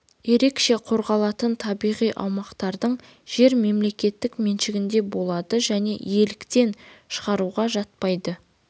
ерекше қорғалатын табиғи аумақтардың жер мемлекет меншігінде болады және иеліктен шығаруға жатпайды